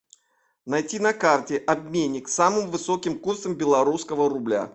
найти на карте обменник с самым высоким курсом белорусского рубля